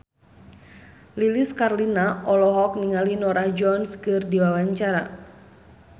Lilis Karlina olohok ningali Norah Jones keur diwawancara